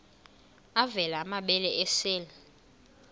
avela amabele esel